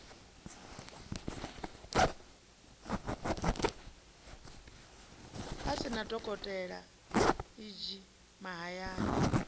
sina dokotela e g mahayani